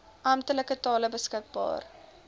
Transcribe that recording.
amptelike tale beskikbaar